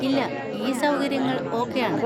ഇല്ല. ഈ സൗകര്യങ്ങൾ ഓക്കെ ആണ്.